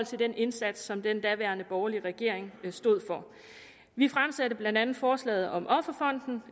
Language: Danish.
til den indsats som den daværende borgerlige regering stod for vi fremsatte blandt andet forslaget om offerfonden